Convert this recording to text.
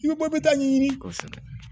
I bɛ bɔ bɛ ta'a ɲɛɲini kosɛbɛ